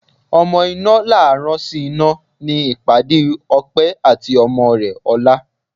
Ọmọ iná là á rán síná ni ìpàdé Ọpẹ́ àti ọmọ rẹ ọ̀la